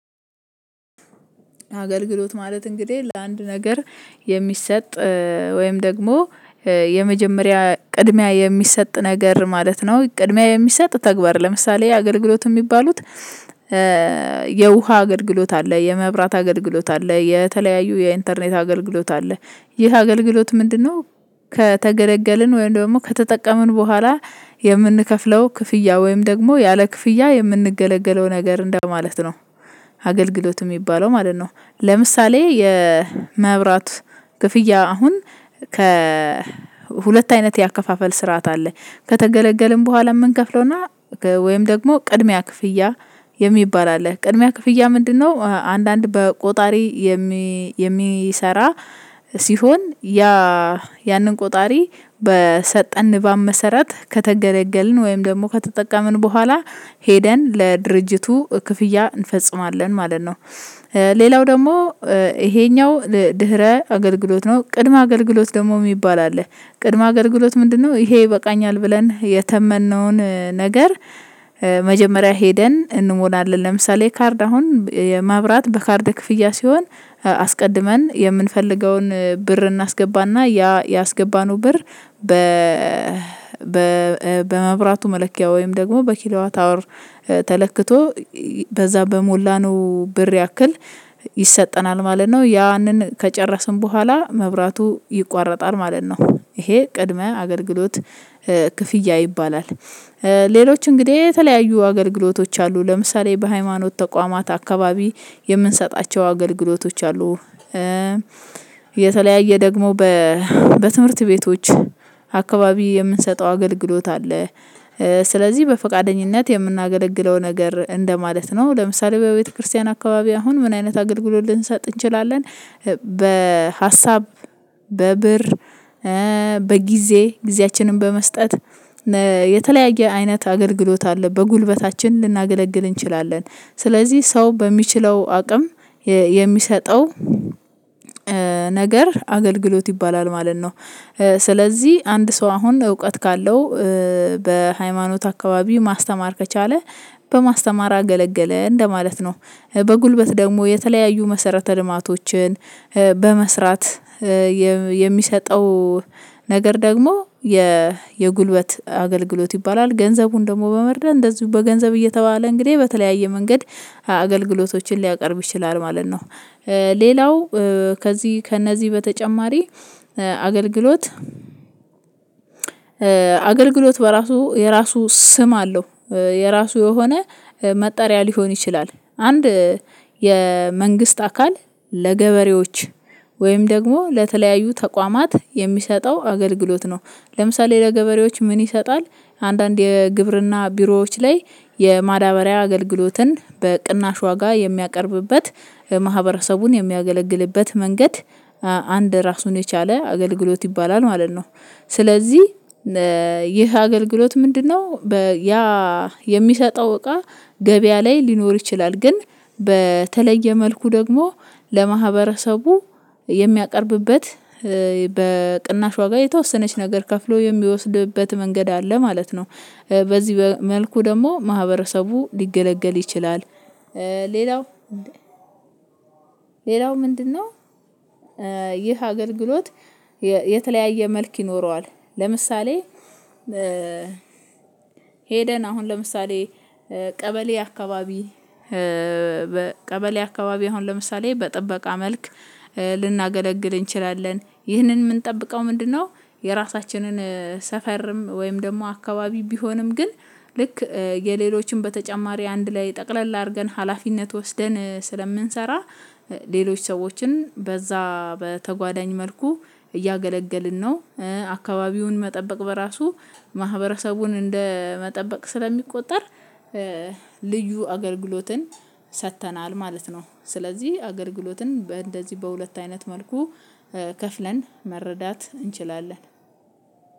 አገልግሎት ማለት እንግዲህ ለአንድ ነገር የሚሰጥ ወይም ደግሞ የመጀመሪያ ቅድሚያ የሚሰጥ ነገር ማለት ነው። ቅድሚያ የሚሰጥ ተግባር ለምሳሌ አገልግሎት የሚባሉት። የውሃ አገልግሎት አለ የመብራት አገልግሎት አለ የተለያዩ የኢንተርኔት አገልግሎት አለ። ይህ አገልግሎት ምንድነው? ከተገለገልን ወይም ደግሞ ከተጠቀምን በኋላ የምንከፍለው ክፍያ ወይም ደግሞ ያለ ክፍያ የምንገለገለው ነገር እንደማለት ነው። አገልግሎት የሚባለው ማለት ነው። ለምሳሌ የመብራት ክፍያ አሁን ከሁለት አይነት የአከፋፈል ስርዓት አለ። ከተገለገልን በኋላ የምንከፍለውና ወይም ደግሞ ቅድሚያ ክፍያ የሚባል አለ። ቅድሚያ ክፍያ ምንድነው? አንዳንድ በቆጣሪ የሚ የሚሰራ ሲሆን ያ ያንን ቆጣሪ በሰጠን ባመሰረት ከተገለገልን ወይም ደግሞ ከተጠቀምን በኋላ ሄደን ለድርጅቱ ክፍያ እንፈጽማለን ማለት ነው። ሌላው ደግሞ ይሄኛው ድህረ አገልግሎት ነው ቅድመ አገልግሎት ደግሞ የሚባል አለ። ቅድመ አገልግሎት ምንድነው? ይሄ ይበቃኛል ብለን የተመነውን ነገር። መጀመሪያ ሄደን እንሞላለን ለምሳሌ ካርድ አሁን ማብራት በካርድ ክፍያ ሲሆን አስቀድመን የምንፈልገውን ብር እናስገባና ያ ያስገባነው ብር በ በመብራቱ መለኪያ ወይም ደግሞ በኪሎዋ ታወር ተለክቶ በዛ በሞላነው ብር ያክል ይሰጠናል ማለት ነው ያንን ከጨረስን በኋላ መብራቱ ይቋረጣል ማለት ነው ይሄ ቅድመ አገልግሎት ክፍያ ይባላል። ሌሎች እንግዲህ የተለያዩ አገልግሎቶች አሉ ለምሳሌ በሃይማኖት ተቋማት አካባቢ የምንሰጣቸው አገልግሎቶች አሉ። የተለያየ ደግሞ በትምህርት ቤቶች አካባቢ የምንሰጠው አገልግሎት አለ። ስለዚህ በፈቃደኝነት የምናገለግለው ነገር እንደማለት ነው ለምሳሌ በቤተክርስቲያን አካባቢ አሁን ምን አይነት አገልግሎት ልንሰጥ እንችላለን? በሀሳብ በብር በጊዜ ጊዜያችንን በመስጠት የተለያየ አይነት አገልግሎት አለ በጉልበታችን ልናገለግል እንችላለን። ስለዚህ ሰው በሚችለው አቅም የሚሰጠው ነገር አገልግሎት ይባላል ማለት ነው። ስለዚህ አንድ ሰው አሁን እውቀት ካለው በሃይማኖት አካባቢው ማስተማር ከቻለ በማስተማር አገለገለ እንደማለት ነው። በጉልበት ደግሞ የተለያዩ መሰረተ ልማቶችን በመስራት የሚሰጠው ነገር ደግሞ የየጉልበት አገልግሎት ይባላል። ገንዘቡን ደግሞ በመርዳት እንደዚሁ በገንዘብ እየተባለ እንግዲህ በተለያየ መንገድ አገልግሎቶችን ሊያቀርብ ይችላል ማለት ነው። ሌላው ከዚህ ከእነዚህ በተጨማሪ አገልግሎት አገልግሎት በራሱ የራሱ ስም አለው። የራሱ የሆነ መጠሪያ ሊሆን ይችላል አንድ የመንግስት አካል ለገበሬዎች ወይም ደግሞ ለተለያዩ ተቋማት የሚሰጠው አገልግሎት ነው። ለምሳሌ ለገበሬዎች ምን ይሰጣል? አንዳንድ የግብርና ቢሮዎች ላይ የማዳበሪያ አገልግሎትን በቅናሽ ዋጋ የሚያቀርብበት ማህበረሰቡን የሚያገለግልበት መንገድ ራሱን የቻለ አገልግሎት ይባላል ማለት ነው። ስለዚህ ይህ አገልግሎት ምንድነው? ያ የሚሰጠው እቃ ገበያ ላይ ሊኖር ይችላል ግን በተለየ መልኩ ደግሞ ለማህበረሰቡ የሚያቀርብበት በቅናሽ ዋጋ የተወሰነች ነገር ከፍሎ የሚወስድበት መንገድ አለ ማለት ነው። በዚህ መልኩ ደግሞ ማህበረሰቡ ሊገለገል ይችላል። ሌላው ሌላው ምንድነው? ይህ አገልግሎት የተለያየ መልክ ይኖረዋል። ለምሳሌ ሄደን አሁን ለምሳሌ ቀበሌ አካባቢ ቀበሌ አካባቢ አሁን ለምሳሌ በጥበቃ መልክ ልናገለግል እንችላለን ይህንን የምንጠብቀው ምንድነው? የራሳችንን ሰፈርም ወይም ደግሞ አካባቢ ቢሆንም ግን ልክ የሌሎችም በተጨማሪ አንድ ላይ ጠቅለል አድርገን ሀላፊነት ወስደን ስለምንሰራ ሌሎች ሰዎችን በዛ በተጓዳኝ መልኩ እያገለገልን ነው። አካባቢውን መጠበቅ በራሱ ማህበረሰቡን እንደመጠበቅ ስለሚቆጠር በመብራቱ መለኪያ ወይም ደግሞ በኪሎዋ ታወር ተለክቶ በዛ በሞላነው ብር ያክል ይሰጠናል ማለት ነው ያንን ከጨረስን በኋላ መብራቱ ይቋረጣል ማለት ነው ይሄ ቅድመ አገልግሎት ክፍያ ይባላል።